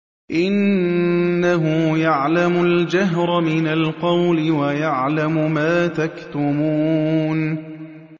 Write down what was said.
إِنَّهُ يَعْلَمُ الْجَهْرَ مِنَ الْقَوْلِ وَيَعْلَمُ مَا تَكْتُمُونَ